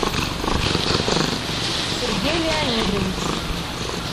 сергей леонидович